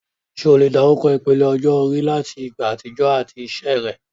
Ṣé o lè dárúkọ ìpele ọjọ́ orí láti ìgbà àtijọ́ àti iṣẹ́ rẹ̀?